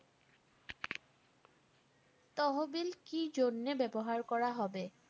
তহবিল কিজন্যে ব্যবহার করা হবে?